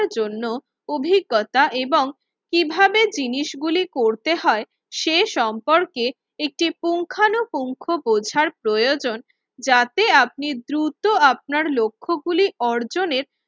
জন্য অভিজ্ঞতা এবং কিভাবে জিনিসগুলি করতে হয় সে সম্পর্কে একটি পুঙ্খানুপুঙ্খ বোঝার প্রয়োজন। যাতে আপনি দ্রুত আপনার লক্ষ্যগুলি অর্জনের